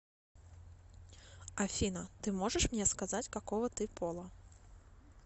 афина ты можешь мне сказать какого ты пола